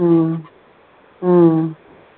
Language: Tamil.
உம் உம்